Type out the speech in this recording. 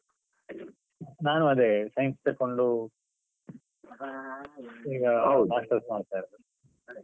ನಾನು ಅದೇ science ತೆಕ್ಕೊಂಡು. ಈಗ ಹೌದು masters ಮಾಡ್ತಾ ಇರುವುದು.